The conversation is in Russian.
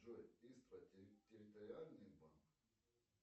джой истра территориальный банк